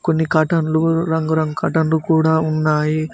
కొన్ని కరటైన్ లు రంగురంగు కర్టైన్లు కూడా ఉన్నాయి.